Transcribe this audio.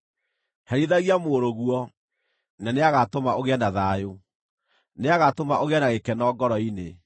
Herithagia mũrũguo, na nĩagatũma ũgĩe na thayũ; nĩagatũma ũgĩe na gĩkeno ngoro-inĩ.